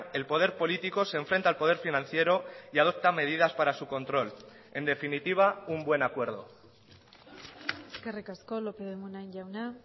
el poder político se enfrenta al poder financiero y adopta medidas para su control en definitiva un buen acuerdo eskerrik asko lópez de munain jauna